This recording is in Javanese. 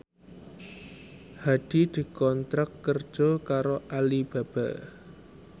Hadi dikontrak kerja karo Alibaba